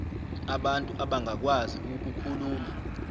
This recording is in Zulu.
abantu abangakwazi ukukhuluma